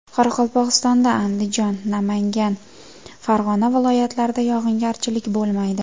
Qoraqalpog‘istonda, Andijon, Namangan, Farg‘ona viloyatlarida yog‘ingarchilik bo‘lmaydi.